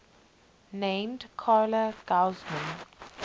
named carla guzman